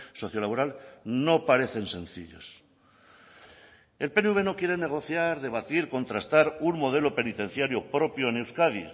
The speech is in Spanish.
socio laboral no parecen sencillos el pnv no quiere negociar debatir contrastar un modelo penitenciario propio en euskadi